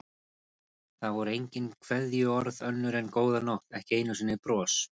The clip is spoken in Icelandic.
Það voru engin kveðjuorð önnur en góða nótt, ekki einu sinni bros.